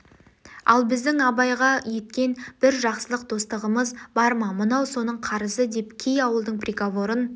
ал біздің абайға еткен бір жақсылық достығымыз бар ма мынау соның қарызы деп кей ауылдың приговорын